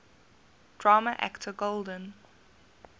drama actor golden